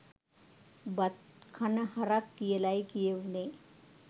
බත් කන හරක් කියලයි කියවුනේ